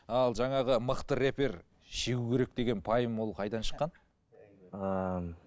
ал жаңағы мықты рэпер шегу керек деген пайым ол қайдан шыққан